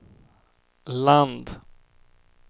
land